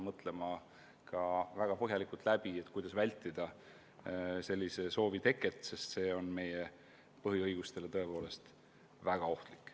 Peame väga põhjalikult läbi mõtlema, kuidas vältida selliste soovide teket, sest see on meie põhiõigustele väga ohtlik.